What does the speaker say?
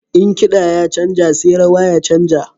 In kiɗa ya canja sai rawa ta canja.